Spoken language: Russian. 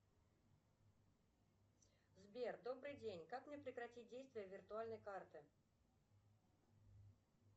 сбер добрый день как мне прекратить действие виртуальной карты